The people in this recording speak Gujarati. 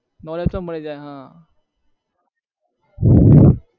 knowledge મળી જાય હા